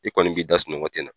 I kɔni b'i da sunɔgɔ tɛna.